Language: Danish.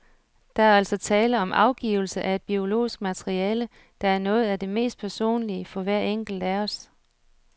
Der er altså tale om afgivelse af et biologisk materiale, der er noget af det mest personlige for hver enkelt af os.